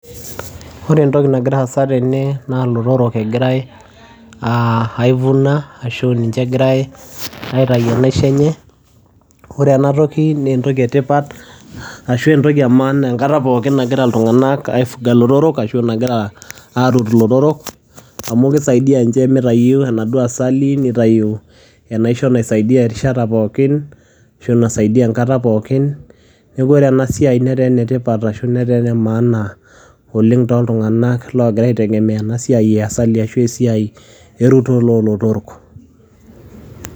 Ore entoki nagira aasa tene naa iltorok egirae uh aivuna ashu ninche egirae aitayu enaisho enye ore enatoki nentoki etipat ashu entoki e maana enkata pookin nagira iltung'anak aifuga ilotorok ashu enkata nagira arut ilotorok amu kisaidia inche mitayu enaduo asali nitayu enaisho naisaidia erishata pookin ashu naisaidia enkata pookin neku ore ena siai netaa enetipata ashu netaa ene maana oleng toltung'anak logira aitegemeya ena siai e asali ashu esiai erutore olotorok.